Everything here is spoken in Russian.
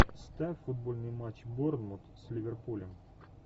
ставь футбольный матч борнмут с ливерпулем